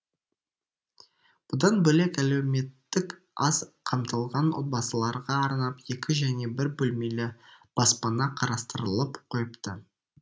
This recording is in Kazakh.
бұдан бөлек әлеуметтік аз қамтылған отбасыларға арнап екі және бір бөлмелі баспана қарастырылып қойыпты